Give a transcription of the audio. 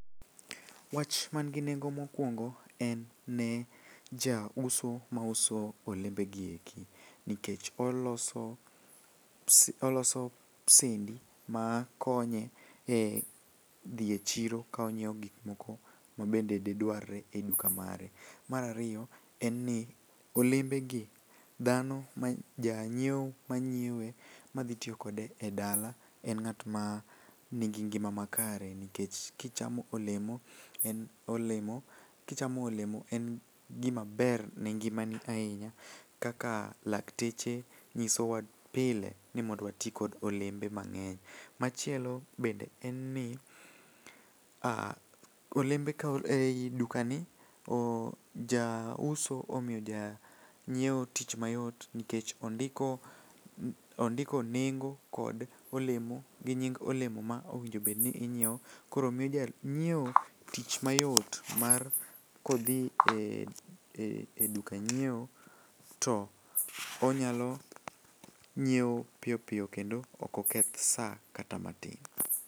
Wach mangi nengo mokwongo en ne jauso ma uso olembegi eki nikech oloso oloso sendi makonye e dhi e chiro ka onyieo gikmoko mabende didwarre e duka mare. Mar ariyo en ni olembegi dhano janyieo manyiewe madhitiyo kode e dala en ng'atma nigi ngima makare nikech kichamo olemo, en gimaber ne ngimani ahinya kaka lakteche nyisowa pile ni mondo wati kod olembe mang'eny. Machielo bende en ni, ah e i dukani, jauso omiyo janyieo tich mayot nikech ondiko nengo kod olemo gi nying olemo ma owinjobedni inyieo koro miyo janyieo tich mayot mar kodhi e duka nyieo to onyalo nyieo piyo piyo kendo okoketh sa kata matin.